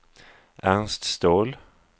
Ernst Ståhl